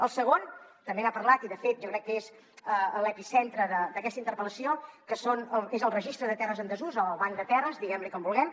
el segon també n’ha parlat i de fet jo crec que és l’epicentre d’aquesta interpel·lació que és el registre de terres en desús el banc de terres diguem ne com vulguem